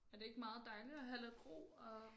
Er det ikke meget dejligt at have lidt ro og